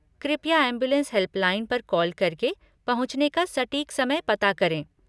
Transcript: कृपया ambulance helpline पर call करके पहुंचने का सटीक समय पता करें।